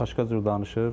Başqa cür danışır.